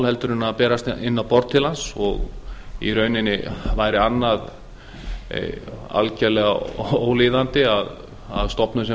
heldur en berast inn á borð til hans í rauninni væri annað algjörlega ólíðandi að stofnun sem